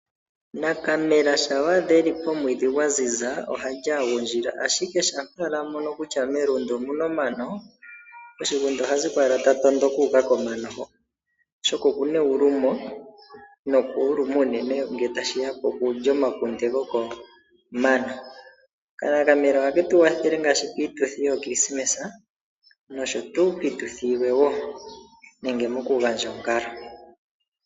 Nakamela shapa wadha eli pomwidhi ngwanzinza ohali angundjila ashike shapa amono kutya melundu omuna omano moshigunda ohaziko tatondoka uka Komano hoka, oshoka okuna eyulumo, nokuluma unene ngele tashiya pokulya omakunde gokomano, kalalamela ohaketuwathele ngashi pituthi yo kilisimesa nosho tu pituthi yimwe wo nenge mokungandja ongalo.